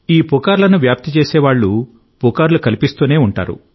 ఈ పుకార్లను వ్యాప్తి చేసే వాళ్ళు పుకార్లు కల్పిస్తూనే ఉంటారు